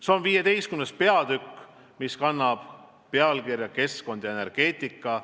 See on 15. peatükk, mis kannab pealkirja "Keskkond ja energeetika".